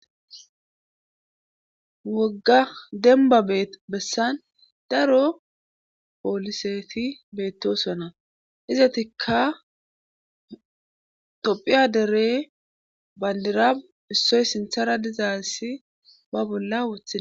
Wogga demba bee bessan daro pooliseti beettosona izatikka tophiya dere bandira issoy sinthara dizaansi ba bolla wothae.